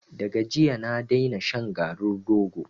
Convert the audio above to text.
Da ga jiya na daina shan shan garin rogo.